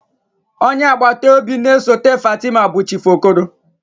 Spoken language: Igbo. Onye agbata obi na-esote Fatima bụ Chief Okoro.